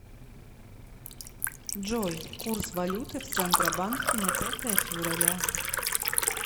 джой курс валюты в центробанке на пятое февраля